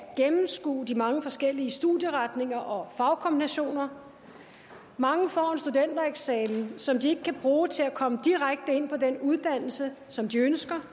gennemskue de mange forskellige studieretninger og fagkombinationer mange får en studentereksamen som de ikke kan bruge til at komme direkte ind på den uddannelse som de ønsker